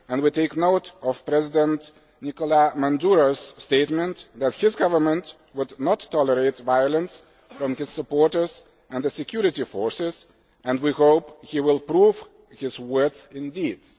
We take note of President Maduro's statement that his government would not tolerate violence from his supporters and the security forces, and we hope he will prove his words in deeds.